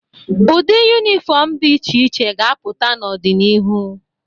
Ụdị yunifọmụ dị iche iche ga-apụta n'ọdịnihu.